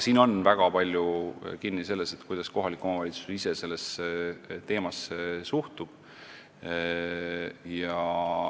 Siin on väga palju kinni selles, kuidas kohalik omavalitsus ise sellesse teemasse suhtub.